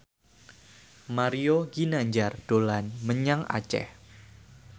Mario Ginanjar dolan menyang Aceh